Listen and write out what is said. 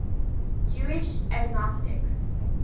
jewish agnostics